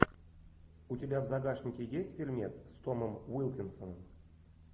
у тебя в загашнике есть фильмец с томом уилкинсоном